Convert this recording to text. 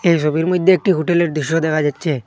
এই সবির মইদ্যে একটি হোটেলের দৃশ্য দেখা যাচ্ছে।